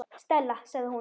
Stella sagði hún.